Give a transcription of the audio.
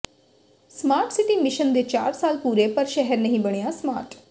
smart city mission ਦੇ ਚਾਰ ਸਾਲ ਪੂਰੇ ਪਰ ਸ਼ਹਿਰ ਨਹੀਂ ਬਣਿਆ ਸਮਾਰਟ